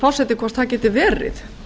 forseti hvort það geti verið